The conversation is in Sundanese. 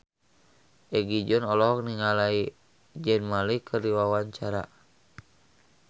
Egi John olohok ningali Zayn Malik keur diwawancara